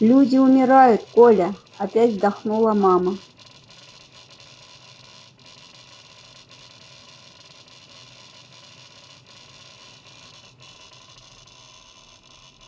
люди умирают коля опять вздохнула мама